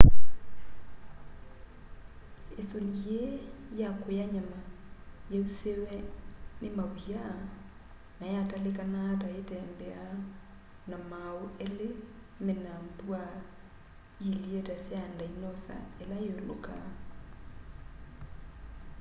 isuni yii ya kuya nyama yausiwe ni maw'ia na yatalikanaa ta yitembeaa na maau eli mena mbwaa iilye ta sya ndinosa ila iulukaa